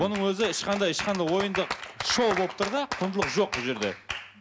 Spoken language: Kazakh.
бұның өзі ешқандай ешқандай ойындық шоу болып тұр да құндылық жоқ бұл жерде